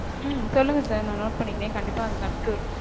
உம் சொல்லுங்க sir நா note பண்ணிக்கிறேன் கண்டிப்பா அதுக்கு அடுத்து